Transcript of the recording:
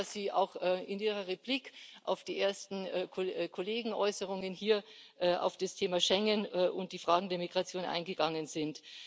Ich freue mich, dass Sie auch in Ihrer Replik auf die ersten Kollegenäußerungen hier auf das Thema Schengen und die Fragen der Migration eingegangen sind.